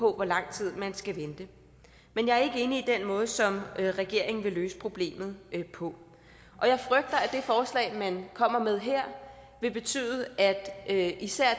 hvor lang tid man skal vente men jeg er ikke enig i den måde som regeringen vil løse problemet på og jeg frygter at man kommer med her vil betyde at især